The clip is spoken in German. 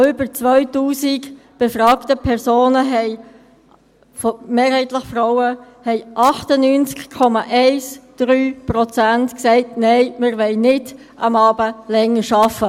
Von über 2000 befragten Personen, mehrheitlich Frauen, haben 98,13 Prozent gesagt: «Nein, wir wollen am Abend nicht länger arbeiten.